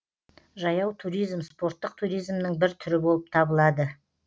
жаяу туризм спорттық туризмнің бір түрі болып табылады